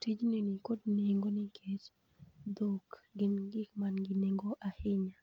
Tijni ni kod nengo nikech dhok gin gik mangi nengo ahinya